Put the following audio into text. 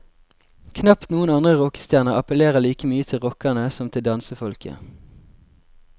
Knapt noen andre rockestjerner appellerer like mye til rockerne som til dansefolket.